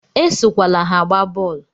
Esokwala ha agba bọọlu!